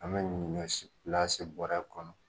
An bɛ ɲɔsi bɔrɛ kɔnɔ